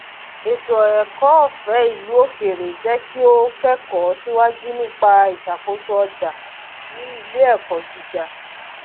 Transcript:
ètò ẹkọ ọfé ìlú òkèrè jẹ kí ó kẹkọọ síwájú nípa ìṣàkóso ọjà ní iléẹkọ gíga